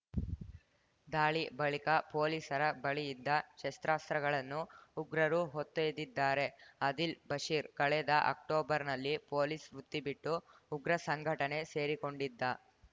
ದಾಳಿ ಬಳಿಕ ಪೊಲೀಸರ ಬಳಿ ಇದ್ದ ಶಸ್ತ್ರಾಸ್ತ್ರಗಳನ್ನು ಉಗ್ರರು ಹೊತ್ತೊಯ್ದಿದ್ದಾರೆ ಆದಿಲ್‌ ಬಶೀರ್‌ ಕಳೆದ ಅಕ್ಟೋಬರ್‌ನಲ್ಲಿ ಪೊಲೀಸ್‌ ವೃತ್ತಿ ಬಿಟ್ಟು ಉಗ್ರ ಸಂಘಟನೆ ಸೇರಿಕೊಂಡಿದ್ದ